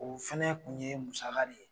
O fana kun ye musaka de ye.